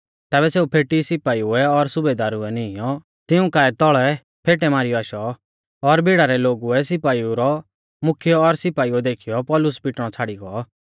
तैबै सेऊ फेटी सिपाइउ और सुबेदार नीईंयौ तिऊं काऐ तौल़ै फेटै मारीयौ आशौ और भिड़ा रै लोगुऐ सिपाइउ रौ मुख्यौ और सिपाइउ देखीयौ पौलुस पिटणौ छ़ाड़ी गौ